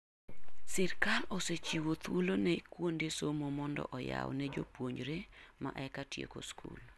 Sirkal osechiwo thuolo ne kuonde somo mondo oyaw ne jopuonjre ma eka tieko skul.